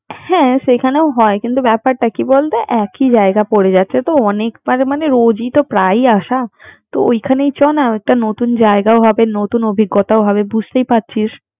হ্যা সেখানে হয় কিন্তু ব্যাপারটা কি বলতো একই জায়গা পরে যাচ্ছে তোঅনেক বার মানে রোজই তো প্রাই আসা তো ওখানে চলনা একটা নতুন জায়গাও হবে নতুন অভিঙ্গতাও হবেবুজতেই পারছিস